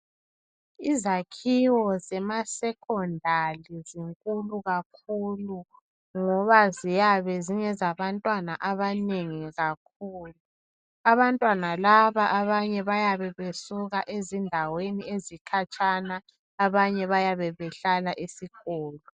Izakhiwo zema Secondali zinkulu kakhulu ngoba ziyabe zingezabantwana abanengi kakhulu. Abantwana laba abanye bayabe besuka ezindaweni ezikhatshana abanye bayabe behlala esikolo.